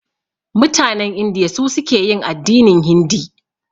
Mutanen Indiya su suke yin addinin hindi.